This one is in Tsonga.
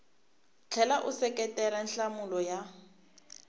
tlhela u seketela nhlamulo ya